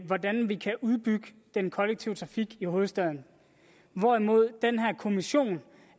hvordan vi kan udbygge den kollektive trafik i hovedstaden hvorimod den her kommission